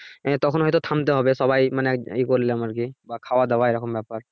আহ তখন হয়তো থামতে হবে সবাই মানে ইয়ে করলাম বা খাওয়া দাওয়া এরকম ব্যাপার।